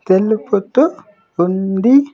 తెలుపుతూ ఉంది.